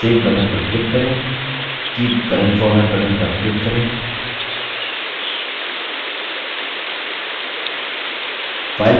keep current format button पर click करें file ppt के रूप में सेव हो गई है